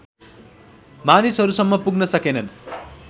मानिसहरूसम्म पुग्न सकेनन्